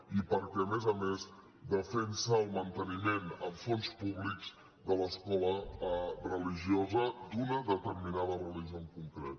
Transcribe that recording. i perquè a més a més defensa el manteniment amb fons públics de l’escola religiosa d’una determinada religió en concret